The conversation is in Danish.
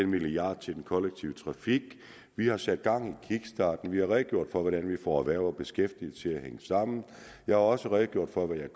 milliard til den kollektive trafik vi har sat gang i kickstarten vi har redegjort for hvordan vi får erhverv og beskæftigelse til at hænge sammen jeg har også redegjort for hvad jeg